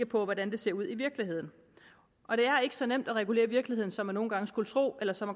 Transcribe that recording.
på hvordan det ser ud i virkeligheden og det er ikke så nemt at regulere virkeligheden som man nogle gange skulle tro eller som